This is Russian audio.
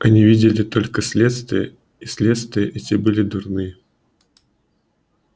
они видели только следствия и следствия эти были дурные